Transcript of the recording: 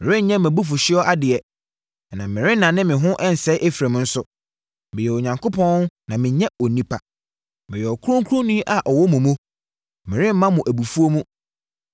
Merenyɛ mʼabufuhyeɛsoɔ adeɛ, ɛna merennane me ho ɛnsɛe Efraim nso. Meyɛ Onyankopɔn na mennyɛ onipa. Meyɛ Ɔkronkronni a ɔwɔ mu mu. Meremma wɔ abufuo mu.